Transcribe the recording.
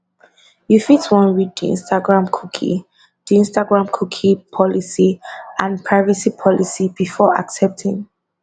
you fit wan read di instagramcookie di instagramcookie policyandprivacy policybefore accepting